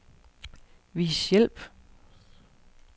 Vis hjælp.